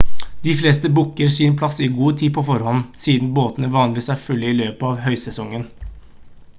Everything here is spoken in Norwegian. de fleste booker sin plass i god tid på forhånd siden båtene vanligvis er fulle i løpet av høysesongen